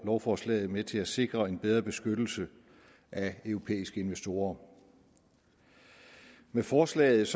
lovforslaget med til at sikre en bedre beskyttelse af europæiske investorer med forslaget